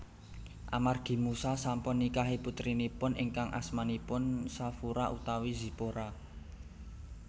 Amargi Musa sampun nikahi putrinipun ingkang asmanipun Shafura utawi Zipora